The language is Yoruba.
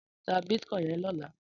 Tá bitkòin yèn lòlá